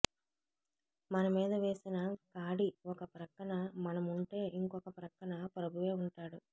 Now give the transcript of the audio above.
మన మీద వేసిన కాడి ఒక ప్రక్కన మనముంటే ఇంకొక ప్రక్కన ప్రభువే ఉంటాడు